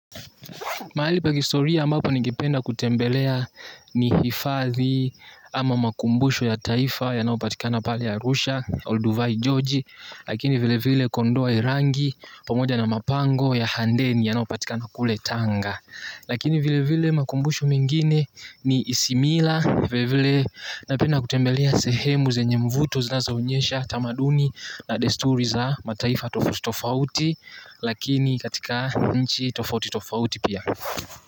Mahali pa historia ambako ningependa kutembelea ni hifathi ama makumbusho ya taifa yanayo patikana pale ya arusha, Olduvai, Joji. Lakini vile vile kondoa irangi pamoja na mapango ya handeni yanayo patikana kule tanga. Lakini vile vile makumbusho mingine ni isimila. Vile vile napenda kutembelea sehemu zenye mvuto zinazoonyesha tamaduni na desturi za mataifa tofauti. Lakini katika nchi tofauti tofauti pia.